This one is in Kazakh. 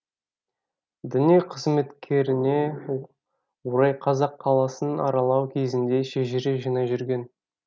діни қызметкеріне орай қазақ қаласын аралау кезінде шежіре жинай жүрген